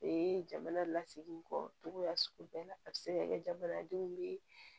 Ee jamana lasegin kɔcogoya sugu bɛɛ la a bɛ se ka kɛ jamanadenw bɛ